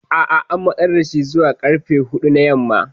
A'a an matsar da shi zuwa karfe hudu na yamma.